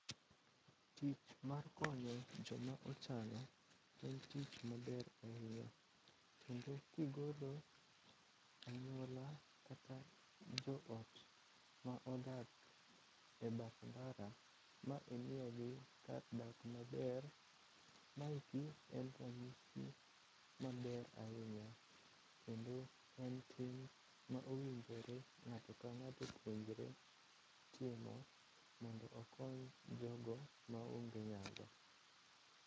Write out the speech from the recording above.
Tich mar konyo joma ochando en tich maber ahinya, kendo kigolo anyuola kata joot ma odak e bath ndara ma imiyogi kar dak maber, maeki en ranyisi maber ahinya kendo en tim ma owinjore ng'ato ka ng'ato owinjore timo mondo okony jogo maonge nyalo.